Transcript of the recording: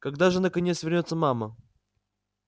когда же наконец вернётся мама